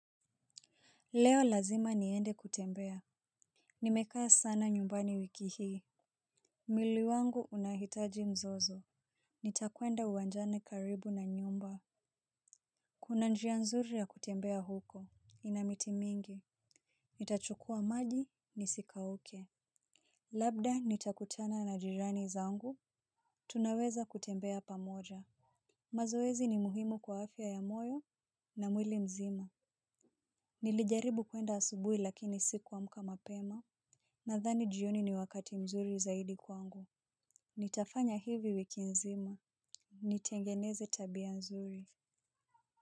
Leo lazima niende kutembea. Nimekaa sana nyumbani wiki hii. Mwili wangu unahitaji mzozo. Nitakwenda uwanjani karibu na nyumba. Kuna njia nzuri ya kutembea huko, ina miti mingi. Nitachukuwa maji, nisikauke. Labda nitakutana na jirani zangu, tunaweza kutembea pamoja. Mazoezi ni muhimu kwa afya ya moyo na mwili mzima. Nilijaribu kwenda asubui lakini siku amuka mapema. Nadhani jioni ni wakati mzuri zaidi kwangu. Nitafanya hivi wiki nzima nitengeneze tabia nzuri.